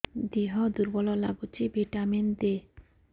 ଦିହ ଦୁର୍ବଳ ଲାଗୁଛି ଭିଟାମିନ ଦେ